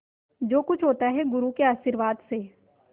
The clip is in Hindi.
जो कुछ होता है गुरु के आशीर्वाद से